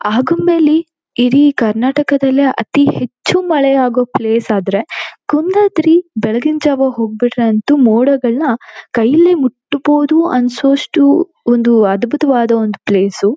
ಆಗೊಂಬೆಲಿ ಇಡೀ ಕರ್ನಾಟಕದಲ್ಲೇ ಅತಿ ಹೆಚ್ಚುಮಳೆ ಆಗೋ ಪ್ಲೇಸ್ ಆದ್ರೆ ಕುಂದಾದ್ರಿ ಬೆಳಗಿನಜಾವ ಹೋಗ್ ಬಿಟ್ರೆ ಅಂತೂ ಮೋಡಗಳ್ನ ಕೈಯಲ್ಲಿ ಮುಟ್ಟಬೋದು ಅನ್ನಸುವಷ್ಟು ಒಂದು ಅದ್ಬುತವಾದ ಒಂದು ಪ್ಲೇಸ್ .